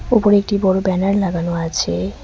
ওপরে একটি বড় ব্যানার লাগানো আছে।